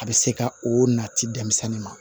A bɛ se ka o nati denmisɛnnin ma